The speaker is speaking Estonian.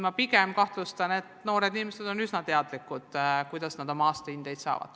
Mina kahtlustan, et noored inimesed on üsna teadlikud sellest, kuidas nad aastahindeid saavad.